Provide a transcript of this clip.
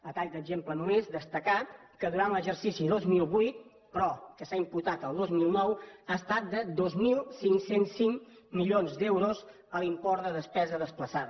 a tall d’exemple només destacar que durant l’exercici dos mil vuit però que s’ha imputat el dos mil nou ha estat de dos mil cinc cents i cinc milions d’euros l’import de despesa desplaçada